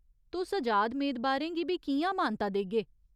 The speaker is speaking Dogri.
तुस अजाद मेदबारें गी बी कि'यां मानता देगे ?